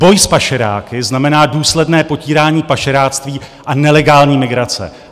Boj s pašeráky znamená důsledné potírání pašeráctví a nelegální migrace.